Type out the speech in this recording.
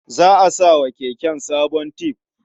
Za a sa wa keken sabon tib.